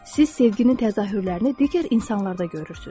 Siz sevgini təzahürlərini digər insanlarda görürsüz.